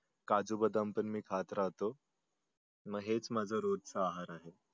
काजू बदाम पन मी खात राहतो मग हेच माझ रोजच आहार आहे.